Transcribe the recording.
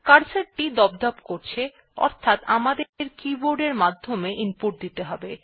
cursor টি দপদপ করছে অর্থাৎ আমাদের কিবোর্ড এর মাধ্যমে ইনপুট দিতে হবে